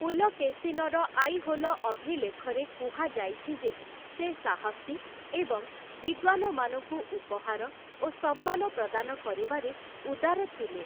ପୁଲକେଶୀନର ଆଇହୋଲ ଅଭିଲେଖରେ କୁହାଯାଇଛି ଯେ ସେ ସାହସୀ ଏବଂ ବିଦ୍ୱାନମାନଙ୍କୁ ଉପହାର ଓ ସମ୍ମାନ ପ୍ରଦାନ କରିବାରେ ଉଦାର ଥିଲେ ।